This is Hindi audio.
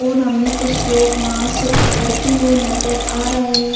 और हमें कुछ लोग वहां से उतरते हुए नजर आ रहे हैं।